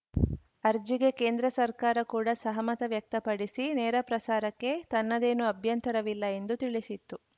ಅರ್ಜಿಗೆ ಕೇಂದ್ರ ಸರ್ಕಾರ ಕೂಡ ಸಹಮತ ವ್ಯಕ್ತಪಡಿಸಿ ನೇರಪ್ರಸಾರಕ್ಕೆ ತನ್ನದೇನೂ ಅಭ್ಯಂತರವಿಲ್ಲ ಎಂದು ತಿಳಿಸಿತ್ತು